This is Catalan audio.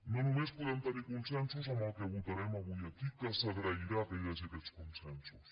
no només podem tenir consensos en el que votarem avui aquí que s’agrairà que hi hagi aquests consensos